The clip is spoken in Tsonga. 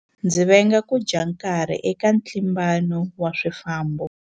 Ndzi venga ku dya nkarhi eka ntlimbano wa swifambo.